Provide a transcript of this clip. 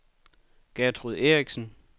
Gertrud Erichsen